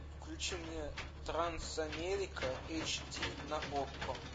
включи мне трансамерика эйч ди на окко